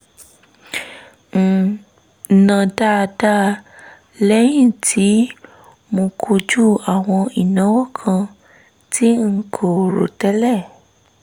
ń ná dáadáa lẹ́yìn tí mo kojú àwọn ìnáwó kan tí n kò rò tẹ́lẹ̀